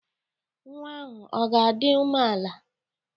Nwa ahụ ọ ga-adị umeala?